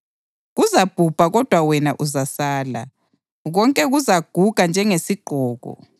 Kuzabhubha kodwa wena uzasala; konke kuzaguga njengesigqoko.